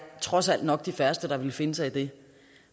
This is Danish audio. trods alt nok de færreste der ville finde sig i det